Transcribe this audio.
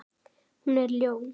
Hún er ljón.